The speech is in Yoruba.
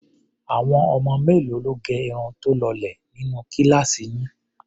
Àwọn ọmọ mélòó ló gẹ irun tó lọlẹ̀ nínú kíláàsì yín?